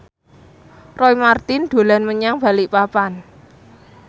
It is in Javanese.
Roy Marten dolan menyang Balikpapan